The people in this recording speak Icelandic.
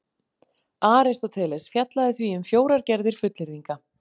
Aristóteles fjallaði því um fjórar gerðir fullyrðinga: